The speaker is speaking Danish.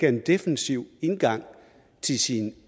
en defensiv indgang til sit